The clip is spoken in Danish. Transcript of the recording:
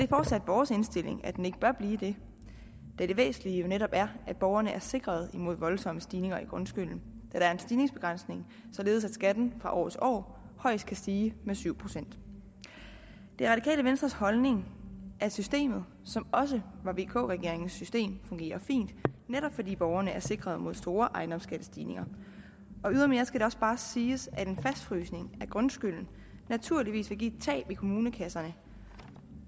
fortsat vores indstilling at den ikke bør blive det da det væsentlige jo netop er at borgerne er sikret mod voldsomme stigninger i grundskylden der er en stigningsbegrænsning således at skatten fra år til år højst kan stige med syv procent det radikale venstres holdning at systemet som også var vk regeringens system fungerer fint netop fordi borgerne er sikret mod store ejendomsskattestigninger ydermere skal det også bare siges at en fastfrysning af grundskylden naturligvis vil give et tab i kommunekasserne